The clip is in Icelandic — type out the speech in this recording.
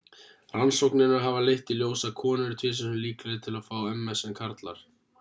rannsóknir hafa leitt í ljós að konur eru tvisvar sinnum líklegri til að fá ms en karlar